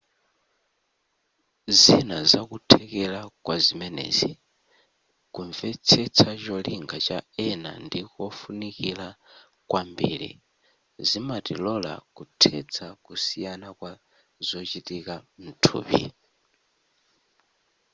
zina zakuthekera kwazimenezi kumvetsetsa cholinga cha ena ndikofunikira kwambiri zimatilola kuthetsa kusiyana kwa zochitika mthupi